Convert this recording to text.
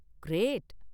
Great!